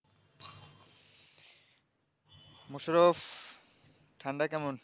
মুসরফ ঠান্ডা কেমন?